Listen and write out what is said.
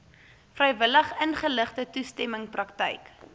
vrywilligingeligte toestemming praktyk